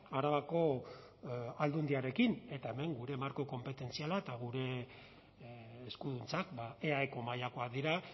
arabako aldundiarekin eta hemen gure marko konpetentziala eta gure eskuduntzak eaeko mailakoak dira